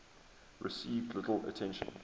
received little attention